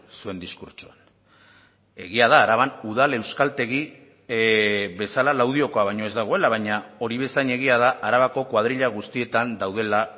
zuen diskurtsoan egia da araban udal euskaltegi bezala laudiokoa baino ez dagoela baina hori bezain egia da arabako koadrila guztietan daudela